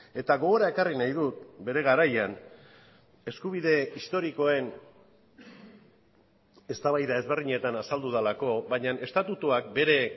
eta gogora ekarri nahi dut bere garaian eskubide historikoen eztabaida ezberdinetan azaldu delako baina estatutuak bere